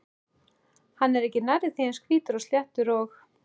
Hann er ekki nærri því eins hvítur og sléttur og